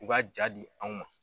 K'u kaa jaa di anw ma.